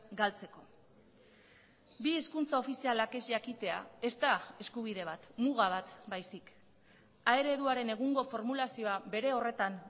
galtzeko bi hizkuntza ofizialak ez jakitea ez da eskubide bat muga bat baizik a ereduaren egungo formulazioa bere horretan